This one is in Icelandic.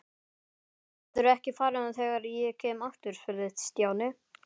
Geturðu ekki farið þegar ég kem aftur? spurði Stjáni.